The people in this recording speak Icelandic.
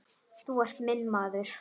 Þú ert minn maður.